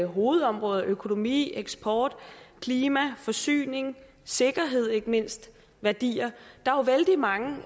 hovedområder økonomi eksport klima forsyning sikkerhed ikke mindst værdier der er vældig mange